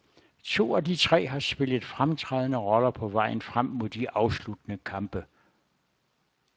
To af de tre har spillet fremtrædende roller på vejen frem mod de afsluttende kampe.